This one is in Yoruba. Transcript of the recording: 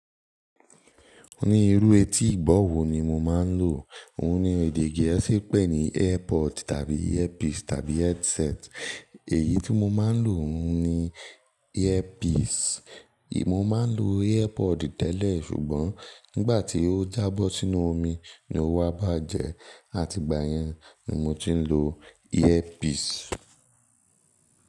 Ní irú etí ìgbọ̀ wo ni mo máa ń lò. Òun ní èdè gẹ̀ẹ́sì pe ní earpod tàbí earpiece tàbí headset. Èyí tí mo máa ń lò òun ni earpiece. Mo ma ń lo earpod tẹ́lẹ̀ ṣùgbọ́n nígbà tí ó jábọ́ sínú omi ni ó wa bàjẹ́ àti ìgbà yẹn ni mo ti ń lo earpiece.